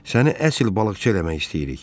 Səni əsl balıqçı eləmək istəyirik.